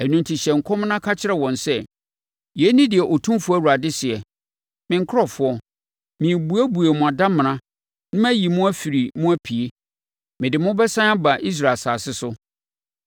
Ɛno enti hyɛ nkɔm na ka kyerɛ wɔn sɛ: ‘Yei ne deɛ Otumfoɔ Awurade seɛ: Me nkurɔfoɔ, merebɛbuebue mo adamena na mayi mo afiri mu apue. Mede mo bɛsane aba Israel asase so.